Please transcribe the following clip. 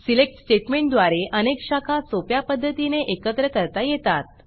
select स्टेटमेंटद्वारे अनेक शाखा सोप्या पध्दतीने एकत्र करता येतात